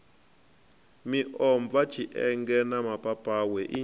miomva tshienge na mapapawe i